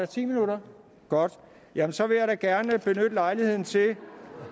ti minutter godt jamen så vil jeg da gerne lejligheden til